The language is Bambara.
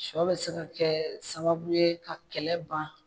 Sɔ bɛ se ka kɛ sababu ye ka kɛlɛ ban.